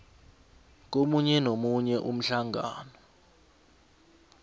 komunye nomunye umhlangano